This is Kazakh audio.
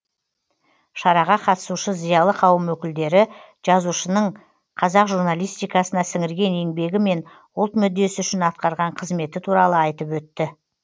шараға қатысушы зиялы қауым өкілдері жазушының қазақ журналистикасына сіңірген еңбегі мен ұлт мүддесі үшін атқарған қызметі туралы айтып өтті